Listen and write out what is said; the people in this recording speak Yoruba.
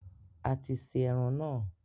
A ti se eran naa